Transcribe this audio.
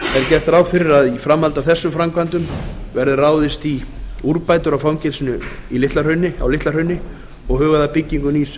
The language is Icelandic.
gert ráð fyrir að í framhaldi af þessum framkvæmdum verði ráðist í úrbætur í fangelsinu á litla hrauni og hugað að byggingu nýs